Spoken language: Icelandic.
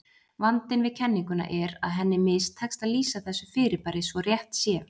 Vandinn við kenninguna er að henni mistekst að lýsa þessu fyrirbæri svo rétt sé.